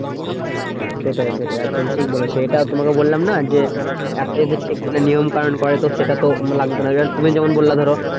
সেটাই সেটাই একদম ঠিক বলেছো। এটা তোমাকে বললাম না যে, একটা যদি ঠিকমতো নিয়ম কানন করে তো সেটা তো লাগতো না। এবার তুমি যেমন বললে ধরো